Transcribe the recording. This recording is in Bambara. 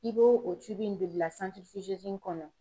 I bo o in bɛ blila kɔnɔ.